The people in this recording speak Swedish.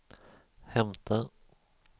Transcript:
hämta